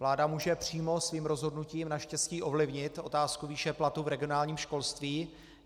Vláda může přímo svým rozhodnutím naštěstí ovlivnit otázku výše platu v regionálním školství.